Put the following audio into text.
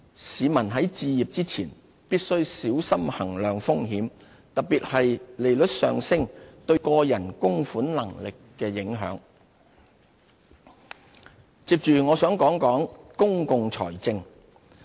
市民在置業前，必須小心衡量風險，特別是利率上升對個人供款能力的影響。理財新哲學接着我想談談公共財政。